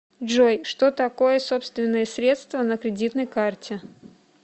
джой что такое собственные средства на кредитной карте